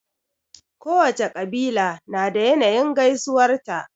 Kowacce ƙabila na da yanayin gaisuwar ta.